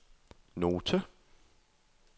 note